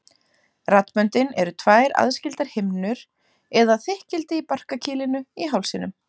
Raddböndin eru tvær aðskildar himnur eða þykkildi í barkakýlinu í hálsinum.